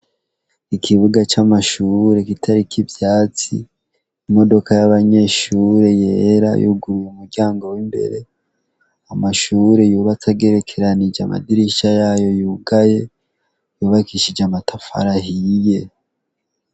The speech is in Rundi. Ikibuga c'amashure gitariko ibyatsi, imodoka y'abanyeshure yera yuguruye umuryango w'imbere, amashure yubatse agerekeranije amadirisha yayo yugaye , yubakishije amatafari ahiye.